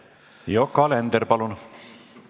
Yoko Alender, palun!